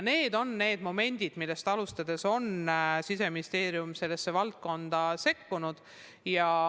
Need on need momendid, millest lähtuvalt on Siseministeerium sellesse valdkonda sekkunud.